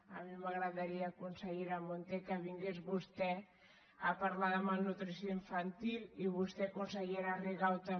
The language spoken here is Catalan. a mi m’agradaria consellera munté que vingués vostè a parlar de malnutrició infantil i vostè consellera rigau també